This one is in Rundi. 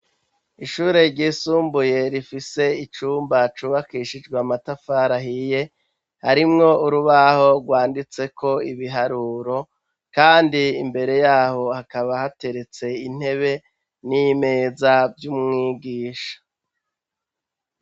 Ishure ry'isumbuye rifise icumba cubakishijwe amatafari ahiye harimwo urubaho rwanditseko ibiharuro, kandi imbere yaho hakaba hateretse intebe n'imeza vy'umwigisha.